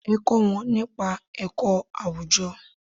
Ẹ kó wọn nípa ẹ̀kọ́ àwùjọ.